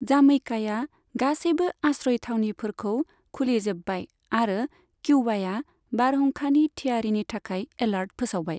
जामैकाया गासैबो आश्रय थावनिफोरखौ खुलिजोब्बाय आरो किउबाया बारहुंखानि थियारिनि थाखाय एलार्ट फोसावबाय।